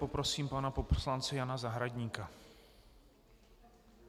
Poprosím pana poslance Jana Zahradníka.